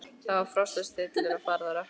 Það var frost og stillur og farið að rökkva.